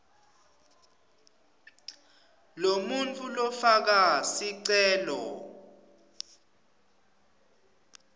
lomuntfu lofaka sicelo